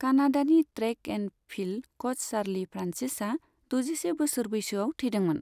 कानाडानि track and field coach Charlie फ्रान्सिसआ दजिसे बोसोर बैसोआव थैदोंमोन।